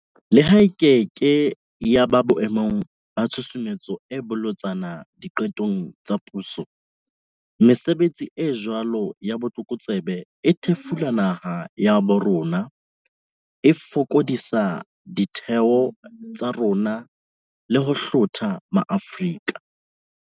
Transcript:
Leha e keke ya ba boe mong ba tshusumetso e bolotsana diqetong tsa puso, mesebetsi e jwalo ya botlokotsebe e thefula naha ya bo rona haholo, e fokodisa ditheo tsa rona le ho hlotha maAfrika